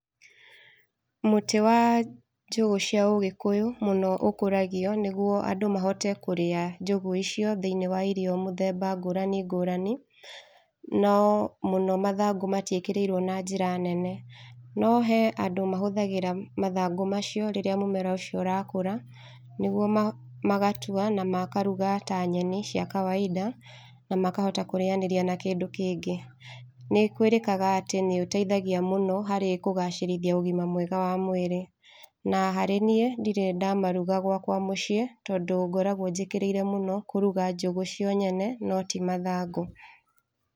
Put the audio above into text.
Mũtĩ wa njũgũ cia ũgĩkũyũ mũno ũkũragio nĩguo andũ mahote kũrĩa njũgũ icio thĩiniĩ wa irio mũthemba ngũrani ngũrani, no mũno mathangũ matiĩkĩrĩirwo na njĩra nene. No he andũ mahũthagĩra mathangũ macio rĩrĩa mũmera ũcio ũrakũra, nĩguo ma, magatua na makaruga ta nyeni cia kawaida na makahota kũrĩanĩria na kĩndũ kĩngĩ. Nĩ kwĩrĩkaga atĩ nĩ ũteithagia mũno harĩ kũgacĩrithia ũgima mwega wa mwĩrĩ. Na harĩ niĩ ndirĩ ndamaruga gwakwa mũciĩ, tondũ ngoragwo njĩkĩrĩire mũno kũruga njũgũ cio nyene no ti mathangũ.